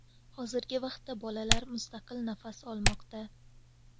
Hozirgi vaqtda bolalar mustaqil nafas olmoqda.